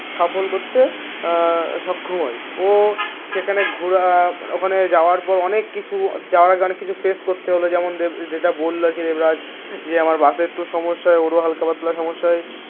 সফল করতে আহ সক্ষম হয় ও সেখানে ঘোরা ওখানে যাওয়ার পর অনেক কিছু যাওয়ার আগে কিছু ফেস করতে হলো যেমন যেযেটা বলল যে দেবরাজ যে আমার বাসে একটু সমস্যা ওরও হালকা পাতলার সমস্যা হয়